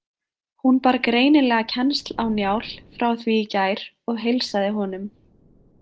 Hún bar greinilega kennsl á Njál frá því í gær og heilsaði honum.